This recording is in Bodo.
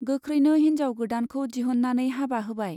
गोख्रैनो हिन्जाव गोदानखौ दिहुन्नानै हाबा होबाय।